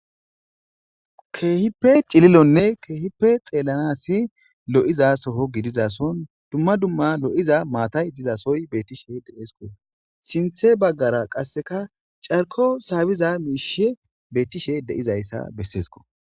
Keehippe cililonne keehipe xeellanasi lo7iza soho gidizason dumma dumma lo7iza maatay dizasoy beettishe de7esko sinthe baggara qasseka carko saabiza miishe beettishe deizayssa besseesko